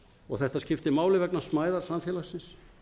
og þetta skiptir máli vegna smæðar samfélagsins